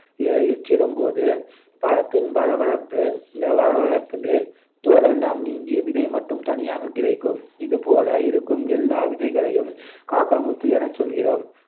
எச்சிடும்போது பழத்தின் வழவழப்பு வழவழப்பு மேல் தோலெல்லாம் நீங்கி விதை மட்டும் தனியாகக் கிடைக்கும் இதுபோல இருக்கும் எல்லா விதைகளையும் காக்கா முத்து எனச் சொல்கிறோம்